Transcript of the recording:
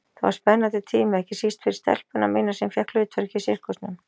Það var spennandi tími, ekki síst fyrir stelpuna mína sem fékk hlutverk í sirkusnum.